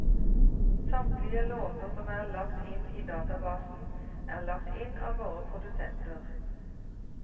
Samtlige låter som er lagt inn i databasen, er lagt inn av våre produsenter.